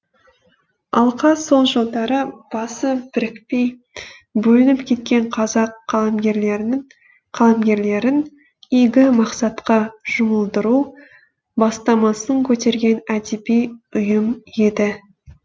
алқа сол жылдары басы бірікпей бөлініп кеткен қазақ қаламгерлерін игі мақсатқа жұмылдыру бастамасын көтерген әдеби ұйым еді